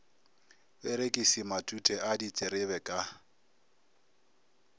perekisi matute a diterebe ka